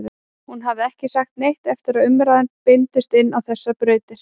Hún hafði ekki sagt neitt eftir að umræðurnar beindust inn á þessar brautir.